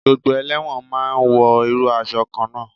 Gbogbo elẹ́wọ̀n ma ń wọ irú aṣọ kan náà.